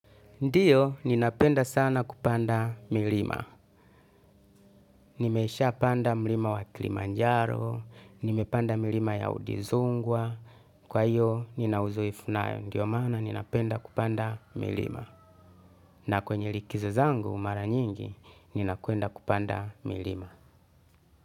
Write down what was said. Ndiyo, ninapenda sana kupanda milima. Nimesha panda mlima wa klimanjaro, nimepanda milima ya udizungwa, kwa hiyo, ninauzoefu nayo. Ndiyo maana, ninapenda kupanda milima. Na kwenye likizo zangu, mara nyingi, ninakwenda kupanda milima.